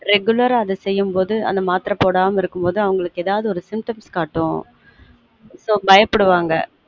regular அ அத செய்யும் போது அந்த மாத்திரை போடாம இருக்கும் போது அவங்களுக்கு எதாவது ஒரு symptoms காட்டும் so பயப்டுவாங்க